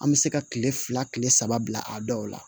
An bɛ se ka kile fila kile saba bila a dɔw la